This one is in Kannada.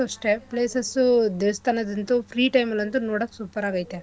ಅಲ್ಲಿ places ಉ ಅಷ್ಟೇ places ಉ ದೇವಸ್ಥಾನದಂತೂ free time ಅಲ್ ಅಂತೂ ನೋಡಕ್ super ಆಗ್ ಐತೆ.